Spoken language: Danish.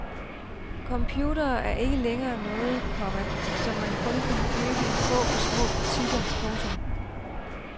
Computere er ikke længere noget, komma som man kun kan købe i få og små butikker. punktum